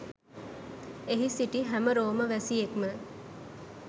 එහි සිටි හැම රෝම වැසියෙක්ම